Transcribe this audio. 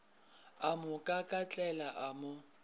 a mo kakatlela a mo